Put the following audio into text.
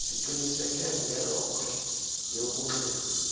siqiniseke ngelokhwe yokunxiba